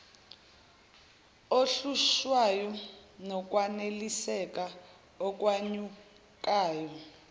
ohlushwayo nokwaneliseka okwenyukayo